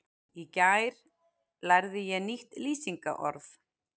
Í gær lærði ég nýtt lýsingarorð.